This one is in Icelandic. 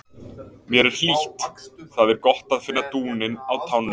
Mér er hlýtt, það er gott að finna dúninn á tánum.